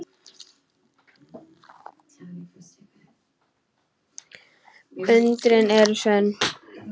Undrin eru sönn.